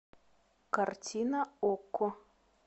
картина окко